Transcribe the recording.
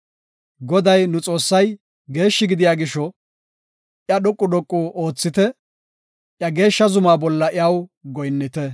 Goday nu Xoossay, geeshshi gidiya gisho, iya dhoqu dhoqu oothite; iya geeshsha zumaa bolla iya goyinnite.